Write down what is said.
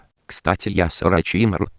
кстати я сворачиваю